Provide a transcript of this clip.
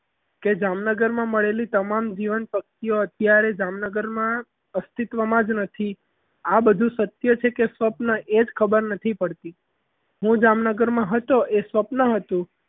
કે જામનગરમાં મળેલી તમામ જીવન શક્તિઓ અત્યારે જામનગરમાં અસ્તિત્વમાં જ નથી આ બધું શક્ય છે કે સ્વપ્ન છે એ જ ખબર નથી પડતી. હું જામનગરમાં હતો એ સ્વપ્ન હતું.